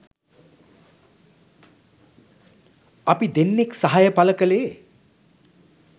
අපි දෙන්නෙක් සහය පළ කළේ